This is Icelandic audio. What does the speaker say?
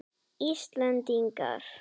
Íslendingar ánægðir með allt og alla